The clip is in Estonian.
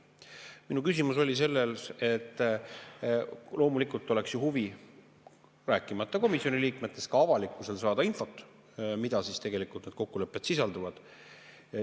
Minu küsimus oli, et loomulikult oleks ju huvi, rääkimata komisjoni liikmetest, ka avalikkusel saada infot, mida need kokkulepped tegelikult sisaldavad.